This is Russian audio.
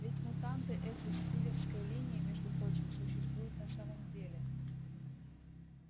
ведь мутанты эти с филёвской линии между прочим существуют на самом деле